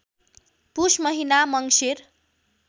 पुष महिना मङ्सिर